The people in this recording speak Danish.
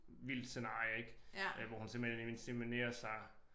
Vildt scenarie ik øh hvor hun simpelthen inseminerer sig